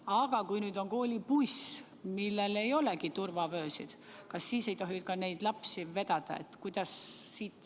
Aga kui tegemist on koolibussiga, millel ei olegi turvavöösid, kas siis ei tohi sellega lapsi vedada või kuidas?